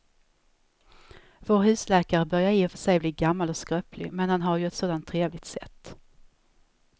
Vår husläkare börjar i och för sig bli gammal och skröplig, men han har ju ett sådant trevligt sätt!